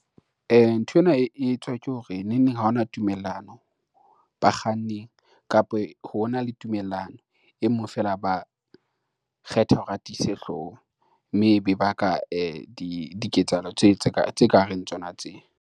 Nthwena e etswa ke hore neng neng ha hona tumellano bakganning kapa hona le tumellano e mong fela a ba kgetha hore atise hlooho, mme ebe ba ka diketsahalo tse ka reng tsona tse.